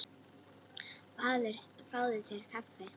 Fáðu þér kaffi.